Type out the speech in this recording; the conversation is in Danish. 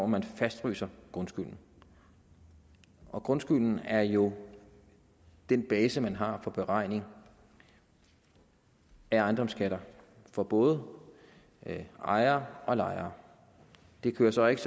man fastfryser grundskylden og grundskylden er jo den base man har for beregning af ejendomsskatter for både ejere og lejere det køres så ikke